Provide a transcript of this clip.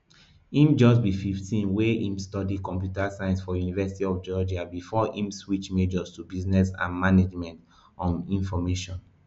im just be fifteen wia im study computer science for university of georgia bifor im switch majors to business and management um information